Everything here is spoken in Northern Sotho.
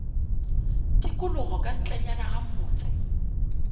tikologo ka ntlenyana ga motse